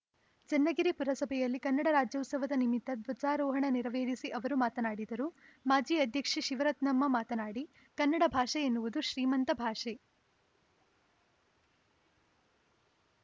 ಚನ್ನಗಿರಿ ಪುರಸಭೆಯಲ್ಲಿ ಕನ್ನಡ ರಾಜ್ಯೋತ್ಸವದ ನಿಮಿತ್ತ ಧ್ವಜಾರೋಹಣ ನೆರವೇರಿಸಿ ಅವರು ಮಾತನಾಡಿದರು ಮಾಜಿ ಅಧ್ಯಕ್ಷೆ ಶಿವರತ್ನಮ್ಮ ಮಾತನಾಡಿ ಕನ್ನಡ ಭಾಷೆ ಎನ್ನುವುದು ಶ್ರೀಮಂತ ಭಾಷೆ